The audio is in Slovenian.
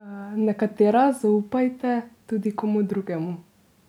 Nekatera zaupajte tudi komu drugemu.